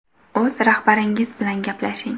O‘z rahbaringiz bilan gaplashing.